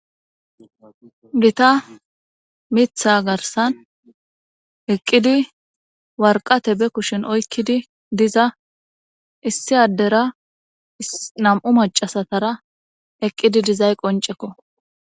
gita mitha garsan eqqidi warqate be kushin oykkidi diza issi addera nam7u macasatara eqqidi dizay qoncekko